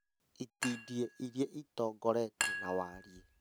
itindiĩ iria ĩtongoretie na wariĩ